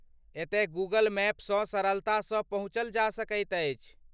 एतय गूगल मैपसँ सरलतासँ पहुँचल जा सकैत छी।